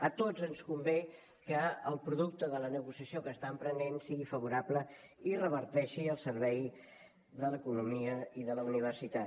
a tots ens convé que el producte de la negociació que està emprenent sigui favorable i reverteixi al servei de l’economia i de la universitat